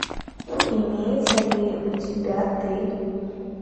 имеется ли у тебя ты